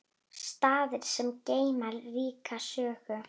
Staðir sem geyma ríka sögu.